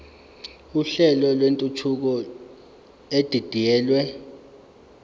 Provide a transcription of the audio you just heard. uhlelo lwentuthuko edidiyelwe